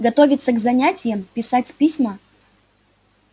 готовиться к занятиям писать письма